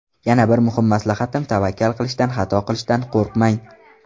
Yana bir muhim maslahatim tavakkal qilishdan, xato qilishdan qo‘rqmang.